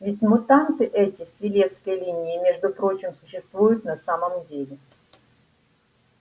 ведь мутанты эти с филёвской линии между прочим существуют на самом деле